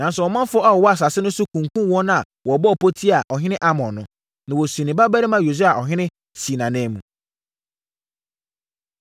Nanso, ɔmanfoɔ a wɔwɔ asase no so kunkumm wɔn a wɔbɔɔ pɔ tiaa ɔhene Amon no, na wɔsii ne babarima Yosia ɔhene, sii nʼanan mu.